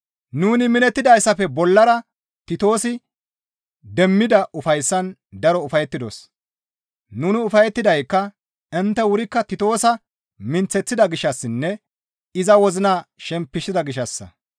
Nuni minettidayssafe bollara Titoosi demmida ufayssaan daro ufayettidos; nuni ufayettidaykka intte wurikka Titoosa minththeththida gishshassinne iza wozina shempisida gishshassa.